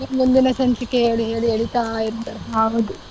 ಈ ಮುಂದಿನ ಮುಂದಿನ ಸಂಚಿಕೆ ಹೇಳಿ ಹೇಳಿ ಎಳೀತಾ ಇರ್ತಾರೆ ಹೌದು.